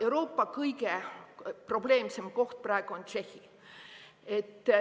Euroopa kõige probleemsem koht praegu on Tšehhi.